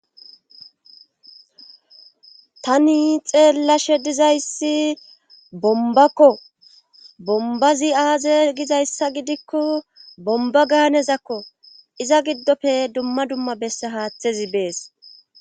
tani xeellashe dizayssi bombakko bombazi aaze gizayssa gidikko bomba gaanezakko iza giddofe dumma dumma besse haaththezi bees